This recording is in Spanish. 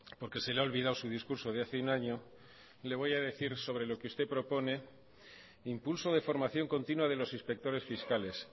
porque se le ha olvidado su discurso de hace un año le voy a decir sobre lo que usted propone impulso de formación continua de los inspectores fiscales